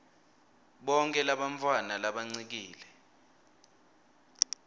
bonkhe bantfwana labancikile